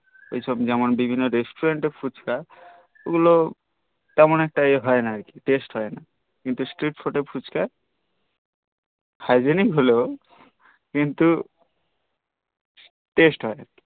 এইসব যেমন বিভিন্ন restaurant এর ফুচকা এইগুল তেমন একটা এ হয়ে না taste হই না কিন্তু street footer ফুচকা hygienic হলেও কিন্তু টেস্ট হই